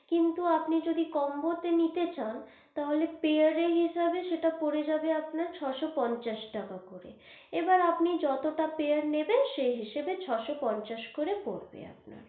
কিন্তু আপনি যদি combo তে নিতে চান, তাহলে pair এর হিসাবে সেটা পরে যাবে আপনার ছ শো পঞ্চাশ টাকা করে, এবার আপনি যতটা pair নেবেন, সেই হিসাবে ছ শো পঞ্চাশ করে পড়বে আপনার।